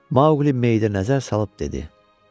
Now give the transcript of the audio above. Mauqli meyidə nəzər salıb dedi: